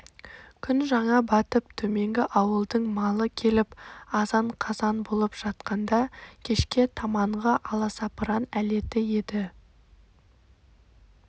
күн жаңа батып төменгі ауылдың малы келіп азан-қазан болып жатқанда кешке таманғы аласапыран әлеті еді